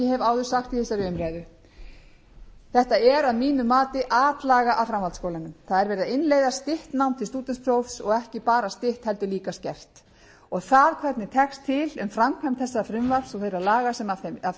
áður sagt í þessari umræðu þetta er að mínu mati atlaga að framhaldsskólanum það er verið að innleiða stutt nám til stúdentsprófs og ekki bara stutt heldur líka skert og það hver tekst til með framkvæmd þessa frumvarps og þeirra laga sem af